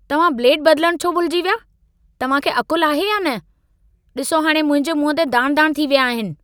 तव्हां ब्लेड बदिलण छो भुलिजी विया? तव्हां खे अक़ुल आहे या न? ॾिसो हाणे मुंहिंजे मुंहं ते दाण-दाण थी विया आहिनि।